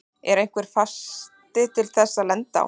Er einhver fasti til þess að lenda á?